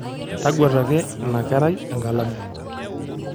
Tagwetaki ina kerai enkalamu.